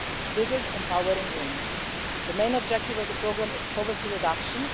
This is empowering women. The main objective of the programme is poverty reduction.